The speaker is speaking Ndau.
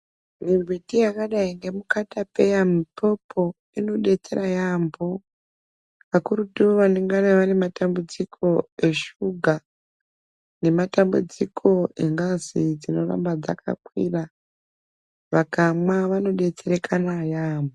Mimbiti yakadai ngemukatapeya mupopo inodetsera yaambo kakurutu vanenge vane matambudziko eshuga nematambudziko engazi dzinoramba dzakakwira vakamwa vanodetsera yaambo .